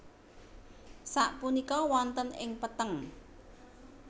Sapunika wonten ing petheng